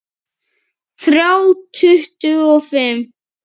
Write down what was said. Þrjá tuttugu og fimm!